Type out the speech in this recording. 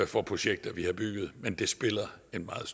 for projekter vi har bygget gennem men det spiller en meget